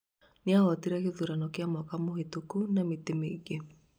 nĩahotire gĩthurano kĩa mwaka mũhĩtũku na mĩtĩ mĩingĩ